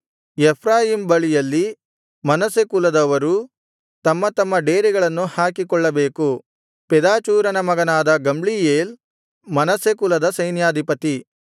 Ephraim ಬಳಿಯಲ್ಲಿ Manasseh ಕುಲದವರೂ ತಮ್ಮ ತಮ್ಮ ಡೇರೆಗಳನ್ನು ಹಾಕಿಕೊಳ್ಳಬೇಕು ಪೆದಾಚೂರನ ಮಗನಾದ ಗಮ್ಲೀಯೇಲ್ ಮನಸ್ಸೆ ಕುಲದ ಸೈನ್ಯಾಧಿಪತಿ